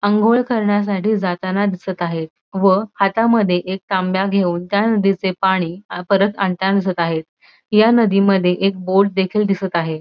आंघोळ करण्यासाठी जाताना दिसत आहे व हातामध्ये एक तांब्या घेऊन त्या नदीचे पाणी परत आणताना दिसत आहे या नदीमध्ये एक बोट देखील दिसत आहे.